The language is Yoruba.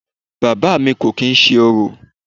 Bàbá à mi kò kìí ṣe orò.